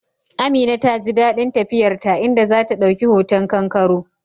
Amina ta ji dadin tafiyar ta, inda za ta dauki hoton kangaroo